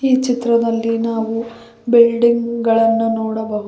ಈ ಚಿತ್ರದಲ್ಲಿ ನಾವು ಬಿಲ್ಡಿಂಗ್ ಗಳನ್ನು ನೋಡಬಹು --